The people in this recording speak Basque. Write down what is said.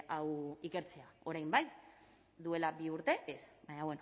hau ikertzea orain bai duela bi urte ez baina